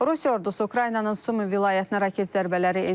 Rusiya ordusu Ukraynanın Sumi vilayətinə raket zərbələri endirib.